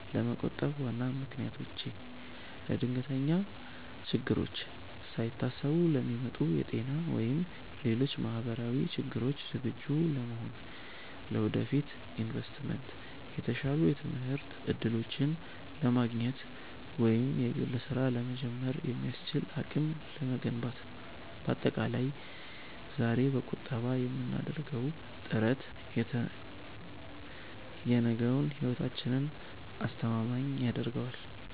ለመቆጠብ ዋና ምክንያቶቼ፦ ለድንገተኛ ችግሮች፦ ሳይታሰቡ ለሚመጡ የጤና ወይም ሌሎች ማህበራዊ ችግሮች ዝግጁ ለመሆን። ለወደፊት ኢንቨስትመንት፦ የተሻሉ የትምህርት እድሎችን ለማግኘት ወይም የግል ስራ ለመጀመር የሚያስችል አቅም ለመገንባት። ባጠቃላይ፣ ዛሬ በቁጠባ የምናደርገው ጥረት የነገውን ህይወታችንን አስተማማኝ ያደርገዋል።